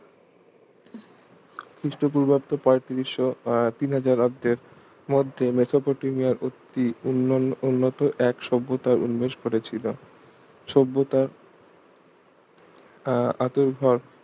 খ্রিস্ট পূর্বাব্দ পঁয়ত্রিশশো তিন হাজার অন্তের মধ্যে মেসোপটেমিয়ার অতি উন্নত এক সভ্যতায় উন্মেষ ঘটেছিল সভ্যতার আহ আতুরঘর